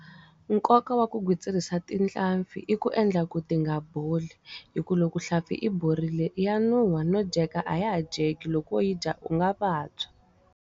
Nkoka wa ku gwitsirisa tihlampfi i ku endla ku ti nga boli. Hikuva loko hlampfi yi borile ya nuhwa no dyeka a ya ha dyeki. Loko wo yi dya u nga vabya.